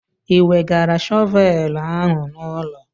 Ị wegara shọvelụ ahụ n'ụlọ?